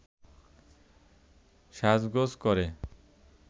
সাজগোজ করে